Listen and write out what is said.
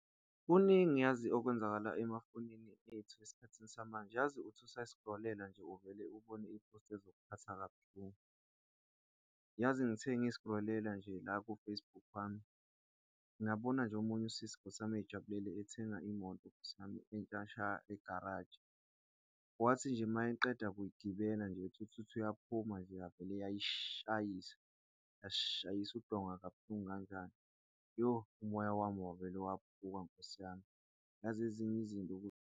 Kuningi yazi okwenzakala emafonini ethu esikhathini samanje yazi. Uthi usayi-scroll-ela nje, uvele ubone i-post ezokuphatha kabuhlungu. Yazi ngithe i ngi-scroll-ela nje la ku-Facebook wami, ngabona nje omunye usisi Nkosi yami, ejabulela ethenga imoto Nkosi yami entsha sha egaraji wathi nje mayeqeda kuyigibela nje ethithithu uyaphuma nje yavele yayishayisa, yashayisa udonga kabuhlungu kanjani. Yo umoya wami wavele waphuka Nkosi yami. Yazi ezinye izinto nje.